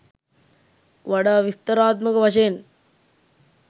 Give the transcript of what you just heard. වඩා විස්තරාත්මක වශයෙන්